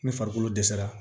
Ni farikolo dɛsɛra